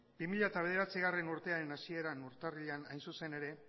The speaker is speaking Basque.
bi mila bederatzigarrena urtearen hasieran urtarrilean hain zuzen ere